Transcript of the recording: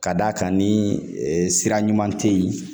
Ka d'a kan ni sira ɲuman tɛ yen